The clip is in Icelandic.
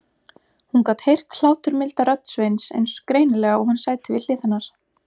Hún gat heyrt hláturmilda rödd Sveins eins greinilega og hann sæti við hlið hennar.